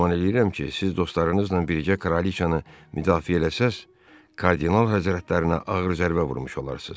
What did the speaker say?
Güman eləyirəm ki, siz dostlarınızla birgə kralıcanı müdafiə eləsəz, kardinal həzrətlərinə ağır zərbə vurmuş olarsız.